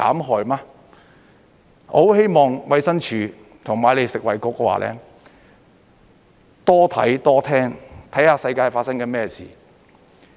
我很希望衞生署和你們食衞局多看多聽，看看世界正在發生甚麼事。